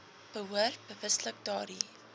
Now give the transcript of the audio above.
behoort bewustelik daardie